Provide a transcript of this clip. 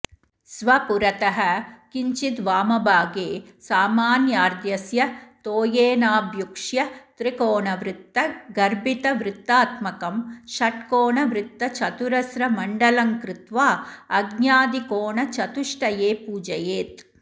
स्वपुरतः किञ्चिद्वामभागे सामान्यार्घ्यस्य तोयेनाभ्युक्ष्य त्रिकोणवृत्तगर्भितवृत्तात्मकं षट्कोणवृत्तचतुरस्रमण्डलङ्कृत्वा अग्न्यादिकोणचतुष्टये पूजयेत्